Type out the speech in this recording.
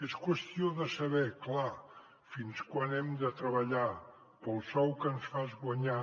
és qüestió de saber clar fins quan hem de treballar pel sou que ens fan guanyar